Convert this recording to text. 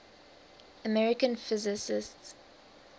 american physicists